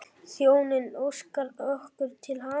Þjónninn óskar okkur til hamingju.